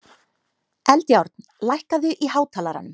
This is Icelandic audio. Eldjárn, lækkaðu í hátalaranum.